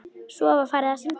Svo var farið að syngja.